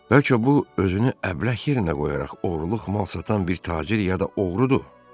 Bəlkə bu özünü əbləh yerinə qoyaraq oğurluq mal satan bir tacir ya da oğrudur?